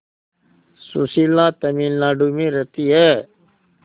सुशीला तमिलनाडु में रहती है